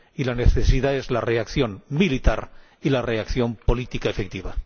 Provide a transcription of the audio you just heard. Y la necesidad es la reacción militar y la reacción política efectiva.